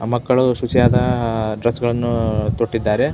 ಮಕ್ಕಳು ಶುಚಿಯಾದ ಡ್ರೆಸ್ ಗಳನ್ನು ತೊಟ್ಟಿದ್ದಾರೆ.